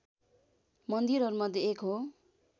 मन्दिरहरूमध्ये एक हो